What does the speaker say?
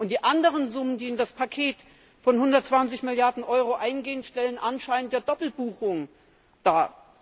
Die anderen Summen, die in das Paket von 120 Milliarden Euro eingehen, stellen anscheinend eine Doppelbuchung dar.